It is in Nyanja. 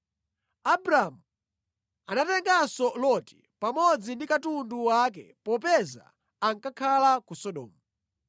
Anatenganso Loti, mwana wa mʼbale wake wa Abramu pamodzi ndi katundu wake popeza ankakhala mu Sodomu.